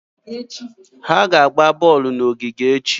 Ha ga-agba bọọlụ n'ogige echi.